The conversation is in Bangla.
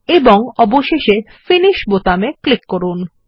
এবং অবশেষে ফিনিশ বোতামে ক্লিক করুন